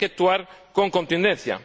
y hay que actuar con contundencia.